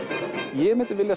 ég myndi